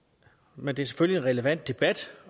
men det er selvfølgelig en relevant debat